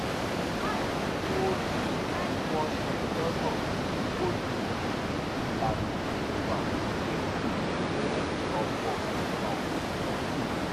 mo ra kóòtù tí wọ́n ṣe lọ́nà tí kò lòdì sí ìlànà ìwà híhù fún ọ̀pọ̀ ìgbà òtútù